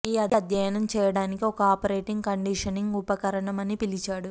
ఈ అధ్యయనం చేయటానికి ఒక ఆపరేటింగ్ కండిషనింగ్ ఉపకరణం అని పిలిచాడు